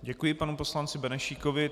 Děkuji panu poslanci Benešíkovi.